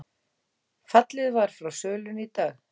Fallið var frá sölunni í dag